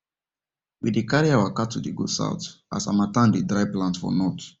we dey carry our cattle dey go south as harmattan dey dry plants for north